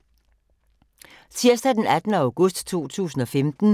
Tirsdag d. 18. august 2015